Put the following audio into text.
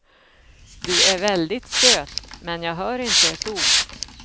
Du är väldigt söt, men jag hör inte ett ord.